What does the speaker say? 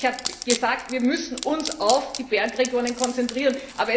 Ich habe gesagt Wir müssen uns auf die Bergregionen konzentrieren.